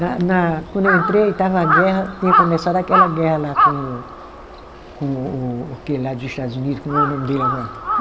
Na na, quando eu entrei, estava a guerra, tinha começado aquela guerra lá com com o aquele lá dos Estados Unidos, como é o nome dele agora?